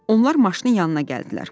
Onlar maşının yanına gəldilər.